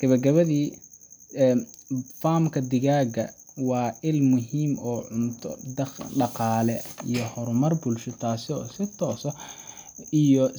Gabagabadii, farm ka digaagga waa il muhiim ah oo cunto, dhaqaale, iyo horumar bulsho, taasoo si toos ah iyo.